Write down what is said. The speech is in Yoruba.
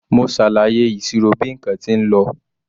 Mo ṣàlàyé ìṣirò bí nǹkan tí lọ.